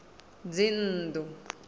dzinnḓu